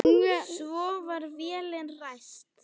Svo var vélin ræst.